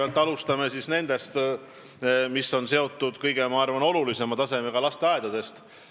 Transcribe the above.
Kõigepealt alustame tasemest, mis on selles küsimuses kõige olulisem, ehk siis lasteaedadest.